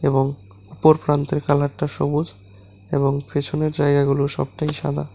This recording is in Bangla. এবং উপর প্রান্তের কালারটা সবুজ এবং পেছনের জায়গাগুলো সবটাই সাদা।